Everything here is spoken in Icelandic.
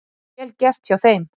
Vel gert hjá þeim.